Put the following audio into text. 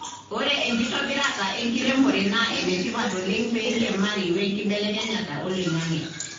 ore enkitobirata enkiremore na enetipat oleng peiriamari we nkibelekenyata oloingange.